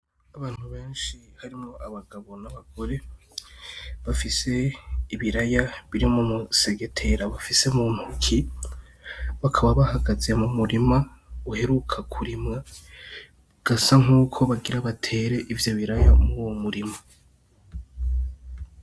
Abantu benshi harimwo abagabo, n'abagore bafise ibiraya biri mu musegetera bafise muntoki bakaba bahagaze mu murima uheruka kurimwa bigasa nkuko bagira batere ivyo biraya muruwo murima.